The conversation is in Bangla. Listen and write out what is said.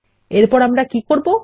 এরপর আমরা কি করবো160